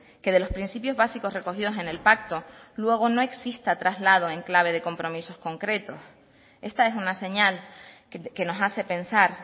que de los principios básicos recogidos en el pacto luego no exista traslado en clave de compromisos concretos esta es una señal que nos hace pensar